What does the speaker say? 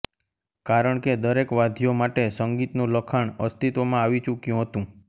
કારણ કે દરેક વાદ્યો માટે સંગીતનું લખાણ અસ્તિત્વમાં આવી ચૂક્યું હતું